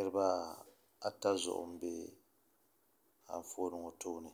Niraba ata zuɣu n bɛ Anfooni ŋɔ puuni